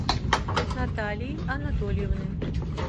наталии анатольевны